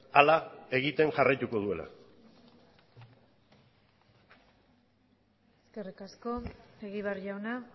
hala egiten jarraituko duela eskerrik asko egibar jauna